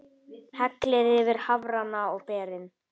Hellið yfir hafrana og berin.